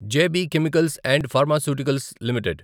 J B chemicals and pharmaceuticals limited